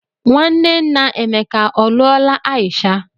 Nwanne nna Emeka ọ lụọla Aisha?